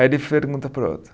Aí ele pergunta para o outro.